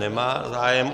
Nemá zájem.